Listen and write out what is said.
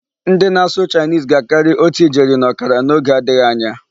Ndị na-asụ 'Chinese' ga-akarị otu ijeri na ọkara n'oge adịghị anya.